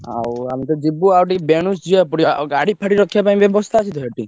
ଆଉ ଆମେ ତ ଯିବୁ ଆଉ ଟିକେ ବେନୁସୁ ଯିବାକୁ ପଡିବ ଆଉ ଗାଡି ଫାଡି ରଖିବା ପାଇଁ ବ୍ୟବସ୍ତା ଆଛି ତ ସେଠି?